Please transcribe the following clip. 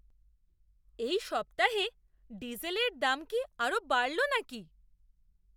এই সপ্তাহে ডিজেলের দাম কি আরও বাড়ল নাকি?